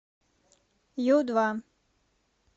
ю два